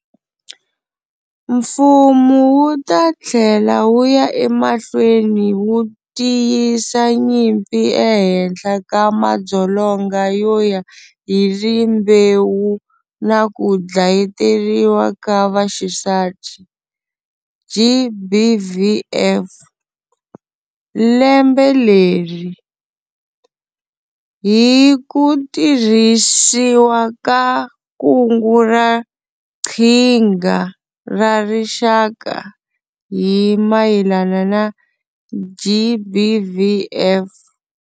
Mfumo wu ta tlhela wu ya emahlweni wu tiyisa nyimpi ehenhla ka madzolonga yo ya hi Rimbewu na ku Dlayeteriwa ka Vaxisati, GBVF, lembe leri, hi ku tirhisiwa ka Kungu ra Qhinga ra Rixaka hi mayelana na GBVF.